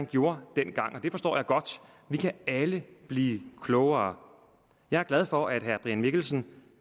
gjorde dengang og det forstår jeg godt vi kan alle blive klogere jeg er glad for at herre brian mikkelsen